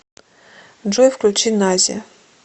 джой включи наззи